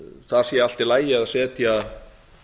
það sé allt í lagi að setja